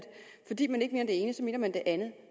fordi man ikke ene så mener man det andet